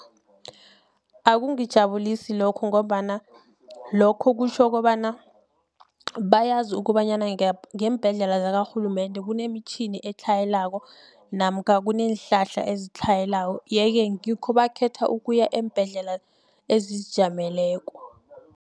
Akungijabulisi lokho ngombana lokho kutjho kobana bayazi ukobanyana ngeembhedlela zakarhulumende kunemitjhini etlhayelako namkha kuneenhlahla ezitlhayelako yeke ngikho bakhetha ukuya eembhedlela ezizijameleko.